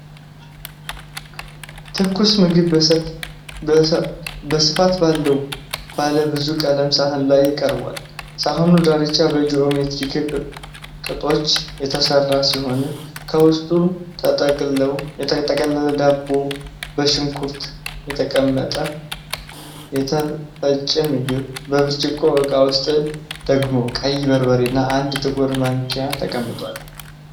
ትኩስ ምግብ በስፋት ባለው ባለብዙ ቀለም ሳህን ላይ ቀርቧል። ሳህኑ ዳርቻ በጂኦሜትሪክ ቅጦች የተሠራ ነው። ከውስጥ የተጠቀለለ ዳቦ፣ በሽንኩርት የተቀመመ የተፈጨ ምግብ፣ በብርጭቆ ዕቃ ውስጥ ደግሞ ቀይ በርበሬና አንድ ጥቁር ማንኪያ ተቀምጠዋል።